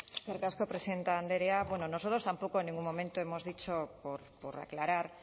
eskerrik asko presidente andrea bueno nosotros tampoco en ningún momento hemos dicho por aclarar